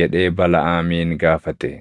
jedhee Balaʼaamiin gaafate.